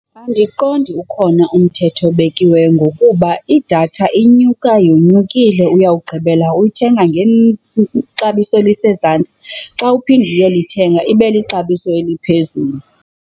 Andiqondi ukhona umthetho obekiweyo ngokuba idatha inyuka yonyukile. Uyawugqibela uyithenga ngexabiso elisezantsi xa uphinda uyolithenga ibe lixabiso eliphezulu.